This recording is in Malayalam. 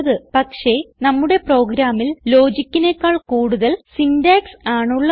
പക്ഷേ നമ്മുടെ പ്രോഗ്രാമിൽ ലോജിക്കിനെക്കാൾ കൂടുതൽ സിന്റാക്സ് ആണ് ഉള്ളത്